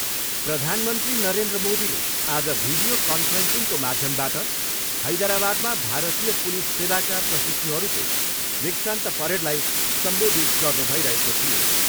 प्रधानमन्त्री नरेन्द्र मोदीले आज भिडियो कान्फ्रेन्सिङको माध्यमबाट हैदराबादमा भारतीय पुलिस सेवाका प्रशिक्षुहरूको दीक्षान्त परेडलाई सम्बोधित गर्नु भइरहेको थियो।